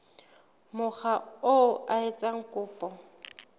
mokga oo a etsang kopo